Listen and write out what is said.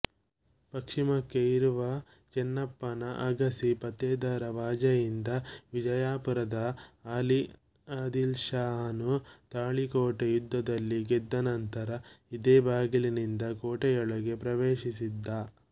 ಪಶ್ಚಿಮಕ್ಕೆ ಇರುವ ಚೆನ್ನಪ್ಪನ ಅಗಸಿ ಫತೇದರವಾಜಯಿಂದ ವಿಜಾಪುರದ ಅಲಿ ಆದಿಲ್ಶಹಾನು ತಾಳಿಕೋಟೆ ಯುದ್ಧದಲ್ಲಿ ಗೆದ್ದನಂತರ ಇದೇ ಭಾಗಲಿನಿಂದ ಕೋಟೆಯೊಳಗೆ ಪ್ರವೇಶಿಸಿದ